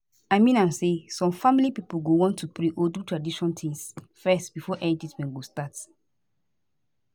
i mean am say some family pipo go wan to pray or do tradition tings fezz before any treatment go start